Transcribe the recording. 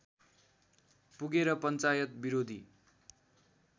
पुगेर पञ्चायत विरोधी